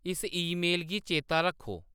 इस ईमेल गी चेता रक्खो